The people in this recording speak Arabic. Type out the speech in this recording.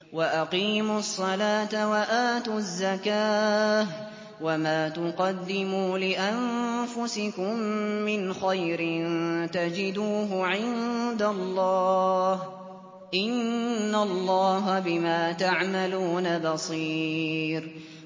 وَأَقِيمُوا الصَّلَاةَ وَآتُوا الزَّكَاةَ ۚ وَمَا تُقَدِّمُوا لِأَنفُسِكُم مِّنْ خَيْرٍ تَجِدُوهُ عِندَ اللَّهِ ۗ إِنَّ اللَّهَ بِمَا تَعْمَلُونَ بَصِيرٌ